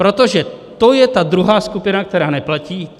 Protože to je ta druhá skupina, která neplatí.